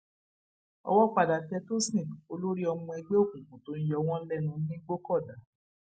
owó padà tẹ tòsìn olórí ọmọ ẹgbẹ òkùnkùn tó ń yọ wọn lẹnu nìgbòkọdá